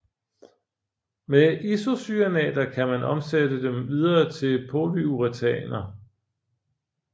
Med isocyanater kan man omsætte dem videre til polyuretaneer